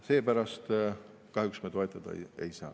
Seepärast kahjuks me toetada ei saa.